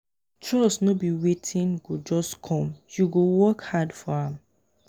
trust no be wetin go just come you go work hard for am.